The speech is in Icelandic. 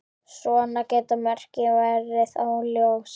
Svona geta mörkin verið óljós.